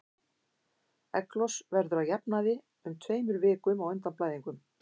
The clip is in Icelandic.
Egglos verður að jafnaði um tveimur vikum á undan blæðingum.